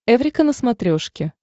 эврика на смотрешке